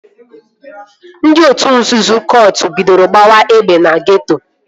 Ndị otu nzuzo kọt bidoro gbawa egbe na geeto